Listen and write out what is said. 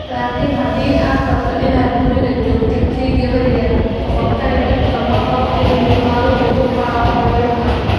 Laakiin haddii aad rabto inaad guriga joogtid sida gabadh yar, boqorkani dhib kama qabo inuu yimaado oo uu garaaco horyaalka.